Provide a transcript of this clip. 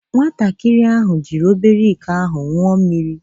Nwatakịrị ahụ jiri obere iko ahụ ṅụọ mmiri.